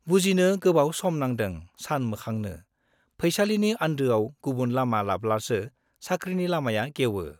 बुजिनो गोबाव सम नांदों सानमोखांनो - फैसालिनि आन्दोआव गुबुन लामा लाब्लासो साख्रिनि लामाया गेवो।